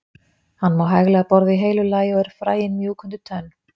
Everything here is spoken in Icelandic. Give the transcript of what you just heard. Hann má hæglega borða í heilu lagi og eru fræin mjúk undir tönn.